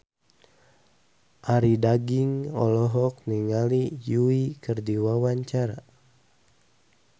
Arie Daginks olohok ningali Yui keur diwawancara